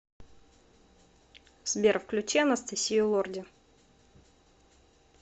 сбер включи анастасию лорди